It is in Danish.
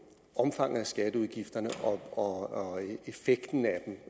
omfanget af skatteudgifterne og effekten af dem